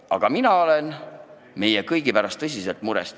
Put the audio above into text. Aga mina olen meie kõigi pärast tõsiselt mures.